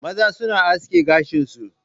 Maza suna aske gashin su